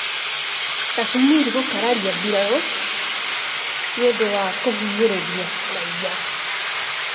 Kashmir gũkararia mbirarū nĩ ũndũ wa kũhinyĩrĩria raiya